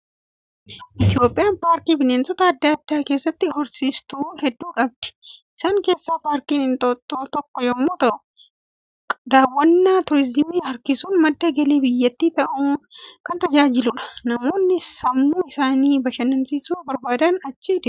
Itoophiyaan paarkii bineensota adda addaa keessatti horsiistu hedduu qabdi. Isaan keessaa paarkiin Inxooxxoo tokko yommuu ta'u, daawwanna turizimii harkisuun madda galii biyyattii ta'uun kan tajaajiludha. Namoonni sammuu isaanii bashannansiisuu barbaadan achi deemu.